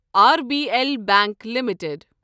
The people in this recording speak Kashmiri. R B L Bank limited